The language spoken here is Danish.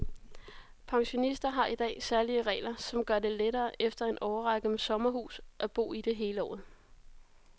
Pensionister har i dag særlige regler, som gør det lettere efter en årrække med sommerhus at bo i det hele året.